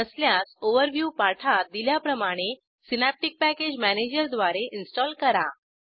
नसल्यास ओव्हरव्यू पाठात दिल्याप्रमाणे सिनॅप्टिक पॅकेज मॅनेजरद्वारे इन्स्टॉल करा